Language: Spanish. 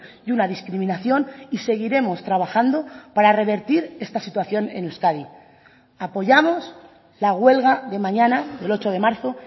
y una discriminación y seguiremos trabajando para revertir esta situación en euskadi apoyamos la huelga de mañana del ocho de marzo